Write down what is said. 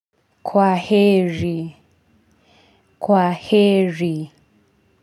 Kwaheri kwaheri.